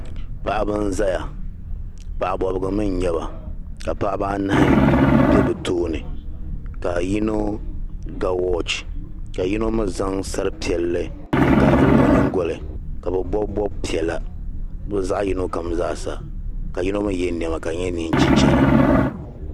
Paɣaba n-zaya paɣa bɔbigu mii n-nyɛba ka paɣaba anahi be bɛ tooni ka yino ga "watch" ka yino mii zaŋ sari piɛlli n kaavuli o nyingoli ka bɛ bɔbi bɔb'piɛla bɛ zaɣ'yino kam zaa sa ka yino mii yɛ niɛma ka di nyɛ neei chichɛra